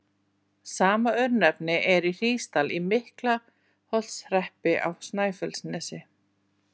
Sama örnefni er í Hrísdal í Miklaholtshreppi á Snæfellsnesi.